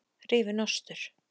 Rifinn ostur